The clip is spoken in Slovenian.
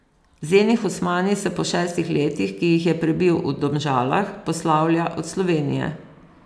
Zeni Husmani se po šestih letih, ki jih je prebil v Domžalah, poslavlja od Slovenije.